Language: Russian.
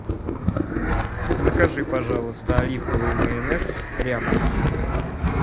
закажи пожалуйста оливковый майонез ряба